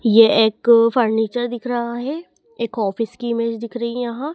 ये एक फर्नीचर दिख रहा है एक ऑफिस की इमेज दिख रही है यहाँ।